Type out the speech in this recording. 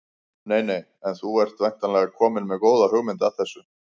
Nei nei En þú ert væntanlega kominn með góða hugmynd að þessu?